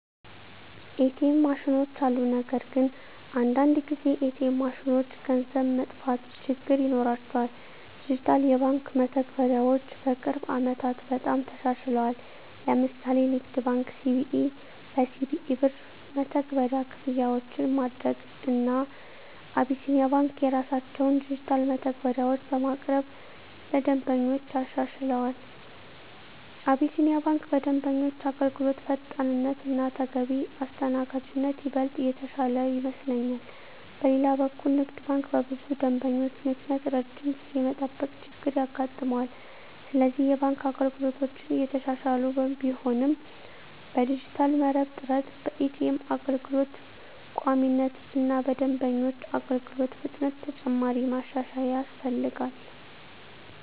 ኤ.ቲ.ኤም ማሽኖች አሉ። ነገር ግን አንዳንድ ጊዜ ኤ.ቲ.ኤም ማሽኖች ገንዘብ መጥፋት ችግር ይኖራቸዋል። ዲጂታል የባንክ መተግበሪያዎች በቅርብ ዓመታት በጣም ተሻሽለዋል። ለምሳሌ ንግድ ባንክ(CBE) በCBE Birr መተግበሪያ ክፍያዎችን ማድረግ፣ እና አቢሲኒያ ባንክ የራሳቸውን ዲጂታል መተግበሪያዎች በማቅረብ ለደንበኞች አሻሽለዋል። አቢሲኒያ ባንክ በደንበኞች አገልግሎት ፈጣንነት እና ተገቢ አስተናጋጅነት ይበልጥ የተሻለ ይመስለኛል። በሌላ በኩል ንግድ ባንክ በብዙ ደንበኞች ምክንያት ረጅም ጊዜ የመጠበቅ ችገር ያጋጥማል፤ ስለዚህ የባንክ አገልግሎቶች እየተሻሻሉ ቢሆንም በዲጂታል መረብ ጥራት፣ በኤ.ቲ.ኤም አገልግሎት ቋሚነት እና በደንበኞች አገልግሎት ፍጥነት ተጨማሪ ማሻሻያ ያስፈልጋል።